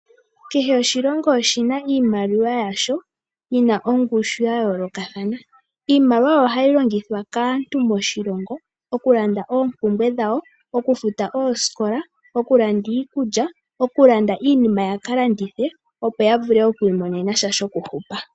Kehe oshilongo oshina iimaliwa yasho yina ongushu yayoolokathana. Iimaliwa oyo hayi longithwa kaantu moshilongo okulanda oompumbwe dhawo, okufuta ooskola, okulanda iikulya nokulanda iinima yaka landithe opo ya vule okwiimonena sha shokuhupa.